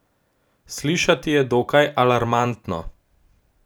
Slišati je dokaj alarmantno.